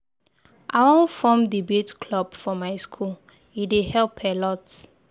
I wan form debate club for my school, e dey help a lot.